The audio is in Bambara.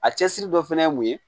A cɛsiri dɔ fɛnɛ ye mun ye